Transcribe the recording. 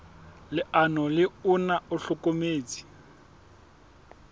leano le ona o hlokometse